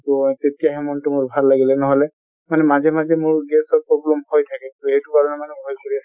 তʼ তেতিয়াহে মনটো মোৰ ভাল লাগিলে ন্হʼলে মানে মাজে মাজে মোৰ gas ৰ problem হৈ থাকে । তʼ সেইটো কাৰণে মানে ভয় কৰি আছিলোঁ